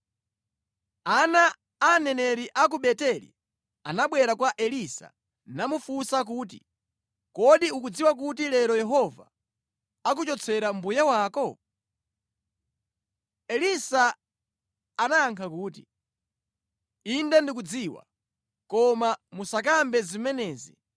Ana a aneneri a ku Beteli anabwera kwa Elisa namufunsa kuti, “Kodi ukudziwa kuti lero Yehova akuchotsera mbuye wako?” Elisa anayankha kuti, “Inde ndikudziwa, koma musakambe zimenezi.”